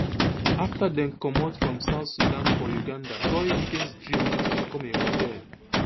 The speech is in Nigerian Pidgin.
afta dem comot from south sudan for uganda goi biggest dream na to become a model